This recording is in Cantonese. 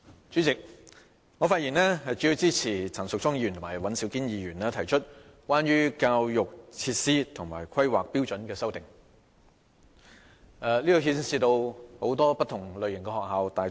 主席，我發言主要支持陳淑莊議員和尹兆堅議員提出的關於教育設施和規劃標準的修正案，這牽涉大、中、小、幼等許多不同類型的學校。